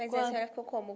Mas a senhora ficou como?